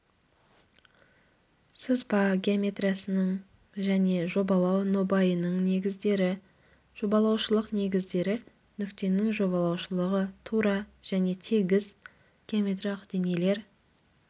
сызба геометриясының және жобалау нобайының негіздері жобалаушылық негіздері нүктенің жобалаушылығы тура және тегіс геометриялық денелер